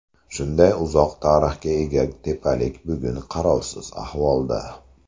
Shunday uzoq tarixga ega tepalik bugun qarovsiz ahvolda.